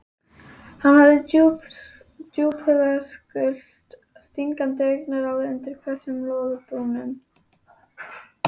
Hann hafði djúphugult stingandi augnaráð undir hvössum loðbrúnum.